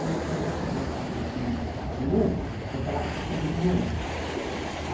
Aí, quando eu queria assistir um filme do de um, eu falava que queria ir no outro.